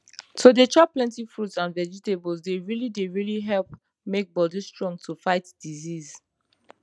to dey chop plenty fruits and vegetables dey really dey really help make bodi strong to fight disease